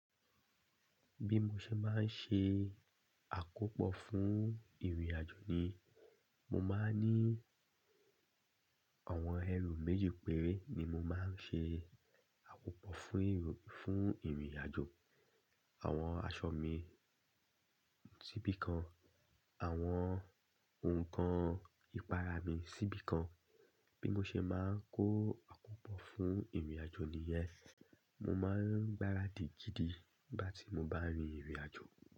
Bí mo ṣe máa ń ṣe àkópọ̀ fún ìrìnàjò ni, mo máa ń ní àwọn ẹrù méjì péré ni mo máa ń ṣe àkópọ̀ fún ìrìn, fún ìrìnàjò. Àwọn aṣọ mi síbi kan, àwọn ohun kan ìpara mi síbi kan. Bí mo ṣe máa ń kó àkópọ̀ fún ìrìnàjò niyen, mo máa ń gbáradì gidi nígbà tí mo bá rin ìrìnàjò.